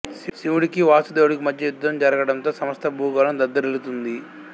శివుడికి వాసుదేవుడికి మధ్య యుద్ధం జరగడంతో సమస్త భూగోళం దద్దరిల్లుతుంది